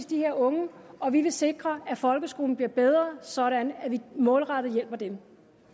de her unge og vi vil sikre at folkeskolen bliver bedre sådan at vi målrettet hjælper dem